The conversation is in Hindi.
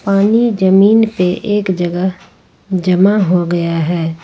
पानी जमीन पे एक जगह जमा हो गया है।